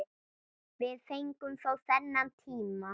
Við fengum þó þennan tíma.